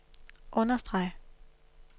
understreg